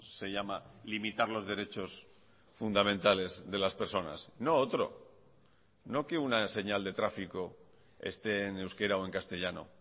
se llama limitar los derechos fundamentales de las personas no otro no que una señal de tráfico esté en euskera o en castellano